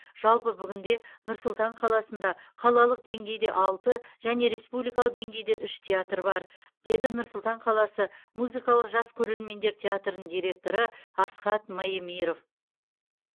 жалпы бүгінде нұр сұлтан қаласында қалалық деңгейде алты және республикалық деңгейде үш театр бар деді нұр сұлтан қаласы музыкалық жас көрермендер театрының директоры асхат маемиров